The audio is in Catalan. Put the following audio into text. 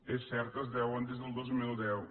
és cert es deuen des del dos mil deu